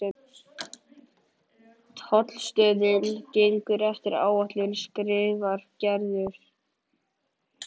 Tollstöðin gengur eftir áætlun skrifar Gerður.